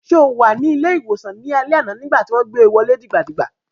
Ṣé o wà ní ilé-ìwòsàn ní alẹ́ àná nígbà tí wọ́n gbé wọlé dìgbà dìgbà?